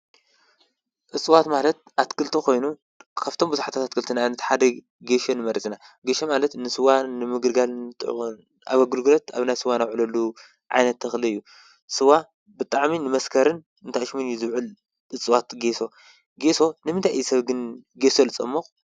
እፅዋት ማለት ኣትክልቲ ኮይኖም ካብቶም ቡዙሓት ኣትክልቲ ንኣብነት ሓደ ጌሾ ንመርፅ ኢና። ጌሾ ማለት ኣብ ኣገልግሎት እንዳ ስዋ እንዉዕለሉ ዓይነት ተክሊ እዩ። ስዋ ብጣዕሚ ንመስከርን ንታኣሽሙን እዩ ዝዉዕል እፅዋት ጌሽ። ጌሽ ንምንታይ እዩ ሰብ ግን ጌሾ ዝፀሙቅ?